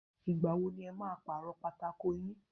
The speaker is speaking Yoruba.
Ìgbà wo ni ẹ máa paro pátákó yín?